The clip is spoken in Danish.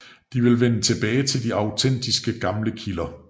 De ville vende tilbage til de autentiske gamle kilder